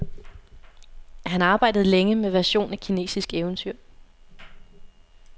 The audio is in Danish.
Han arbejdede længe med version af kinesisk eventyr.